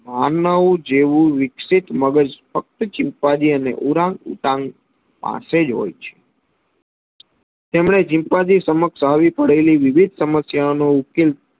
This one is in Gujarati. માનવ જેવું વિકસી મગજ ફક્ત ચિમ્પાન્જી અને ઉરાંગ ઉતાન પાસેજ હોય છે. તેમને ચિમ્પાન્જી સમક્ષ આવી પડેલી વિવિધ સમસ્યાઓનો ઉકેલ